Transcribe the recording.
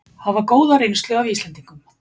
Hafa góða reynslu af Íslendingum